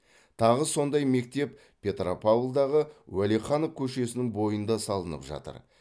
тағы сондай мектеп петропавлдағы уәлиханов көшесінің бойында салынып жатыр